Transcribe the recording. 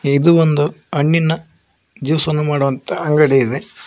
ಇದು ಒಂದು ಹಣ್ಣಿನ ಜ್ಯೂಸ್ ಅನ್ನು ಮಾಡುವಂತ ಅಂಗಡಿ ಇದೆ.